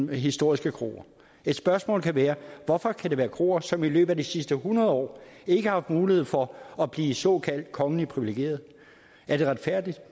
på historiske kroer et spørgsmål kan være hvorfor skal det være kroer som i løbet af de sidste hundrede år ikke har haft mulighed for at blive såkaldt kongeligt privilegerede er det retfærdigt